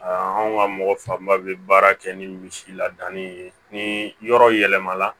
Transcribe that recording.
anw ka mɔgɔ fanba bɛ baara kɛ ni misi ladanni ye ni yɔrɔ yɛlɛmana